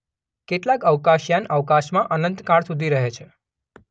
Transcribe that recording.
કેટલાક અવકાશયાન અવકાશમાં અનંતકાળ સુધી રહે છે.